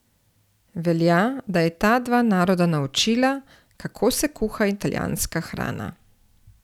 Velja, da je ta dva naroda naučila, kako se kuha italijanska hrana.